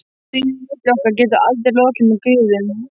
Stríðinu milli okkar getur aldrei lokið með griðum.